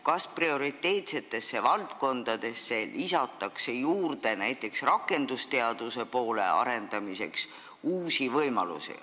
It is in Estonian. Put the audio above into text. Kas prioriteetsete valdkondade, näiteks rakendusteaduse arendamiseks luuakse uusi võimalusi?